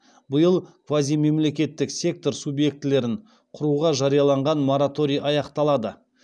биыл квазимемлекеттік сектор субъектілерін құруға жарияланған мораторий аяқталады